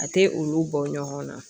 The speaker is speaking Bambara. A tɛ olu bɔ ɲɔgɔn na